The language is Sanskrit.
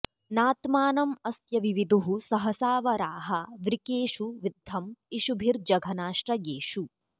नात्मानं अस्य विविदुः सहसा वराहा वृकेषु विद्धं इषुभिर्जघनाश्रयेषु